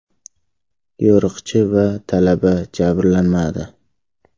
Yo‘riqchi va talaba jabrlanmadi.